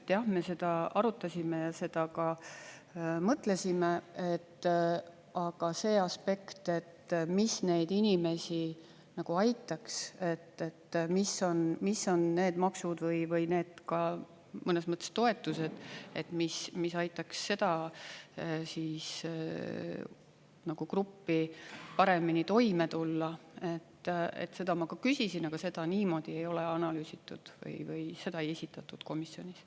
Jah, me seda arutasime ja seda ka mõtlesime, aga see aspekt, mis neid inimesi nagu aitaks, mis on need maksud või need ka mõnes mõttes toetused, mis aitaksid seda gruppi paremini toime tulla, seda ma küsisin, aga seda niimoodi ei ole analüüsitud või seda ei esitatud komisjonis.